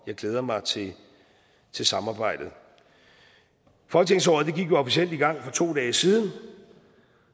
glæder mig til til samarbejdet folketingsåret gik jo officielt i gang for to dage siden